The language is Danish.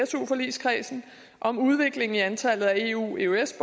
su forligskredsen om udviklingen i antallet af eu og eøs